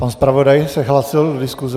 Pan zpravodaj se hlásil do diskuse.